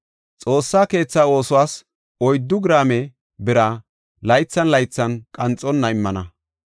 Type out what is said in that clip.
“Xoossa keetha oosuwas oyddu giraame bira laythan laythan qanxonna immana.